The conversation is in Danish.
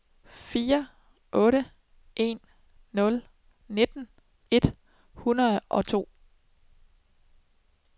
fire otte en nul nitten et hundrede og to